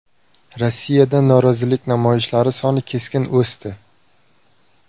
Rossiyada norozilik namoyishlari soni keskin o‘sdi.